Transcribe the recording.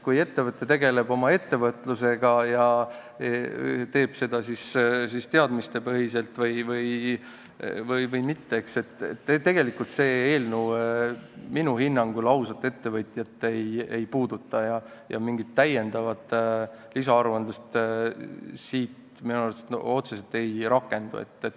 Kui ettevõte tegeleb ausalt oma ettevõtlusega, teeb ta seda teadmistepõhiselt või mitte, siis see minu hinnangul teda tegelikult ei puuduta ja mingit lisaaruandlust sellest otseselt ei rakendu.